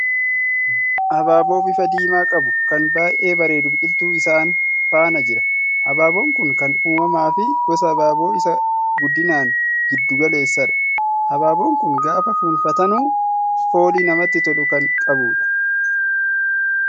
Habaaboo bifa diimaa qabu, kan baay'ee bareedu biqiltuu isaan faana jira. Habaaboon kun kan uumamaa fi gosa habaaboo isa guddinaan giddu galeessadha. Habaaboon kun gaafa fuunfatanu foolii namatti tolu kan qabuudha.